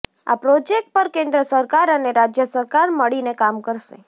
આ પ્રોજેક્ટ પર કેન્દ્ર સરકાર અને રાજ્ય સરકાર મળીને કામ કરશે